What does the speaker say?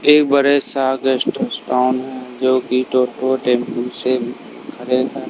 एक बड़े सा गेस्ट टाऊन है जो कि टोयोटो टेंपो से खरे हैं।